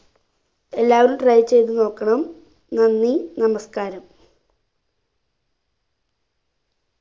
എല്ലാവരും try ചെയ്ത് നോക്കണം നന്ദി നമസ്കാരം